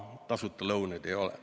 Tasuta lõunaid ei ole.